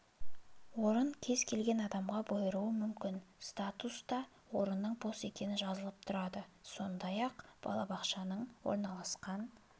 орын кез келген адамға бұйыруы мүмкін статуста орынның бос екені жазылып тұрады сондай-ақ балабақшаның орналасқан